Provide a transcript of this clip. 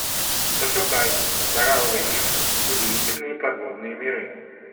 пошукай коралловый риф удивительные подводные миры